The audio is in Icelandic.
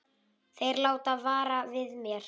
Þeir láta vara við mér.